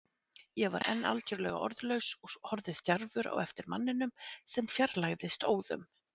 Ég var enn algjörlega orðlaus og horfði stjarfur á eftir manninum sem fjarlægðist óðum.